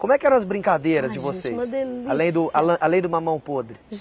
Como é que eram as brincadeiras de vocês. Ai, gente, era uma delicia. Além do alan além do mamão podre?